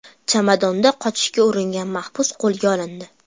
Chamadonda qochishga uringan maxbus qo‘lga olindi.